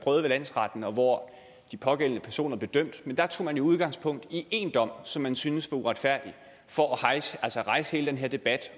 landsretten og hvor de pågældende personer blev dømt men der tog man jo udgangspunkt i én dom som man synes var uretfærdig for at rejse at rejse hele den her debat